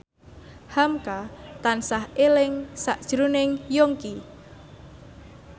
hamka tansah eling sakjroning Yongki